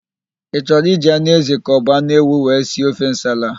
Ị chọrọ iji anụ ézì ka ọbụ anụ ewu wee si ofe nsala a?